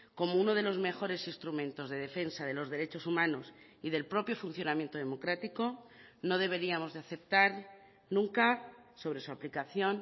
como uno de los mejores instrumentos de defensa de los derechos humanos y del propio funcionamiento democrático no deberíamos de aceptar nunca sobre su aplicación